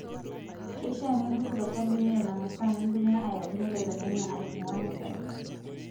Keishaa nintuku to sabuni Nena maasaa nintumia ayaunye lelo nyanya aitung'uaa nasari.